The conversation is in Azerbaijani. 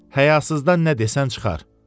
Həyasızdan nə desən çıxar."